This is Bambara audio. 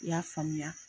I y'a faamuya